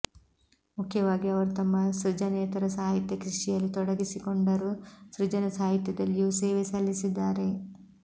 ಮುಖ್ಯವಾಗಿ ಅವರು ತಮ್ಮ ಸೃಜನೇತರ ಸಾಹಿತ್ಯ ಕೃಷಿಯಲ್ಲಿ ತೊಡಗಿಸಿಕೊಂಡರೂ ಸೃಜನ ಸಾಹಿತ್ಯದಲ್ಲಿಯೂ ಸೇವೆ ಸಲ್ಲಿಸಿದ್ದಾರೆ